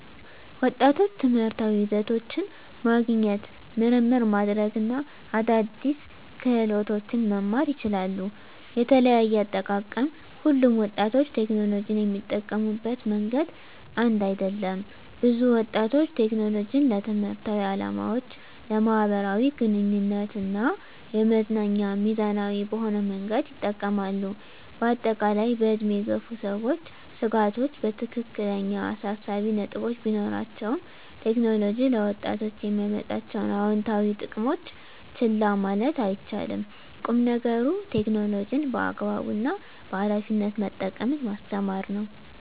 ወጣቶች ትምህርታዊ ይዘቶችን ማግኘት፣ ምርምር ማድረግ እና አዳዲስ ክህሎቶችን መማር ይችላሉ። * የተለያየ አጠቃቀም: ሁሉም ወጣቶች ቴክኖሎጂን የሚጠቀሙበት መንገድ አንድ አይደለም። ብዙ ወጣቶች ቴክኖሎጂን ለትምህርታዊ ዓላማዎች፣ ለማኅበራዊ ግንኙነት እና ለመዝናኛ ሚዛናዊ በሆነ መንገድ ይጠቀማሉ። በአጠቃላይ፣ በዕድሜ የገፉ ሰዎች ስጋቶች ትክክለኛ አሳሳቢ ነጥቦች ቢኖራቸውም፣ ቴክኖሎጂ ለወጣቶች የሚያመጣቸውን አዎንታዊ ጥቅሞች ችላ ማለት አይቻልም። ቁም ነገሩ ቴክኖሎጂን በአግባቡ እና በኃላፊነት መጠቀምን ማስተማር ነው።